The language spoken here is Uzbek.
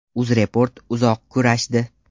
UzReport uzoq kurashdi.